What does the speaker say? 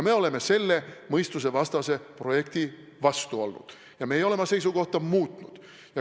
Me oleme selle mõistusevastase projekti vastu olnud ja me ei ole oma seisukohta muutnud.